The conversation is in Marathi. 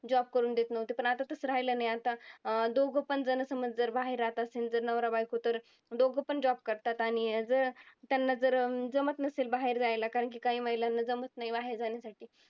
job करून देत नव्हते. पण आता तसं राहिलं नाही आता. अं दोघंपण समज जर बाहेर राहत असेन तर नवरा-बायको तर दोघंपण job करतात. आणि जर त्यांना जर जमत नसेल बाहेर जायला कारण की काही महिलांना जमत नाही बाहेर जाण्यासाठी.